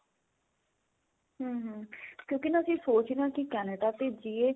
hm ਕਿਉਂਕਿ ਅਸੀਂ ਸੋਚ ਰਹੇ ਹਾਂ ਕੀ ਅਸੀਂ Canada